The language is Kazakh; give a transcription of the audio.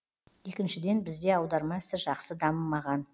екіншіден бізде аударма ісі жақсы дамымаған